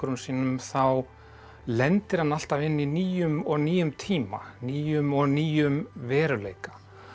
sínum þá lendir hann alltaf inn í nýjum og nýjum tíma nýjum og nýjum veruleika